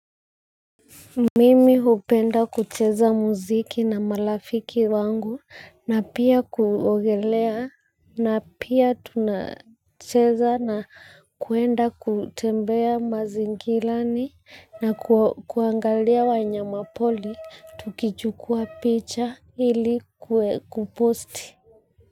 Mimi hupenda kucheza muziki na marafiki wangu na pia kuogelea na pia tunacheza na kwenda kutembea mazingilani na kuangalia wanyama pori tukichukua picha ili kuwe kuposti.